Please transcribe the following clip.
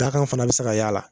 Dakan fana bi se k'a y'a la